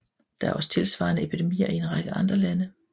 Der er også tilsvarende epidemier i en række andre lande